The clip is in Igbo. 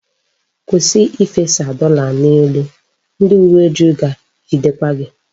Kwụsị ifesa dọla n'elu! Ndị uwe ojii ga-ejidekwa gị.